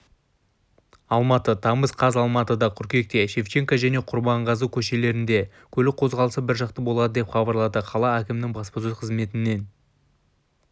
алматы тамыз қаз алматыда қыркүйекте шевченко және құрманғазы көшелерінде көлік қозғалысы біржақты болады деп хабарлады қала әкімінің баспасөз қызметінен